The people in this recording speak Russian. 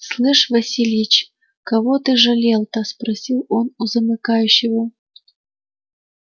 слышь васильич кого ты жалел-то спросил он у замыкающего